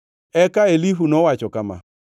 Eka Elihu nowacho kama: